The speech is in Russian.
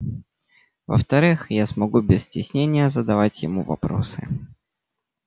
во-вторых я смогу без стеснения задавать ему вопросы